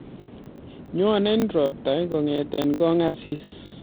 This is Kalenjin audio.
Nyonei robatak kongetei kongasisi